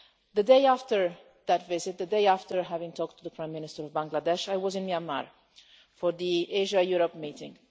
The day after that visit the day after I talked to the Prime Minister of Bangladesh I was in Myanmar for the Asia Europe meeting.